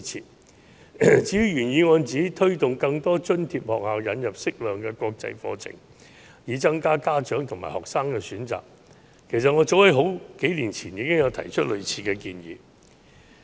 至於原議案指當局應推動更多津貼學校引入適量的國際課程，以增加家長和學生的選擇，其實我早在數年前已提出類似建議。